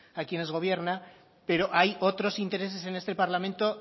a quienes gobierna pero hay otros intereses en este parlamento